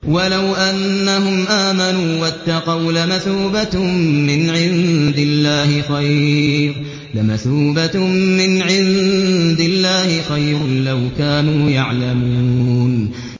وَلَوْ أَنَّهُمْ آمَنُوا وَاتَّقَوْا لَمَثُوبَةٌ مِّنْ عِندِ اللَّهِ خَيْرٌ ۖ لَّوْ كَانُوا يَعْلَمُونَ